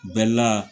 Bɛla